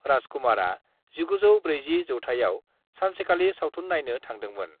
राज कुमारआ 1940 जौथाइआव सानसेखालि सावथुन नायनो थांदोंमोन।